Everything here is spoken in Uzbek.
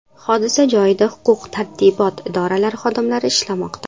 Hodisa joyida huquq-tartibot idoralari xodimlari ishlamoqda.